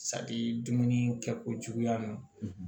dumuni kɛ ko juguya ma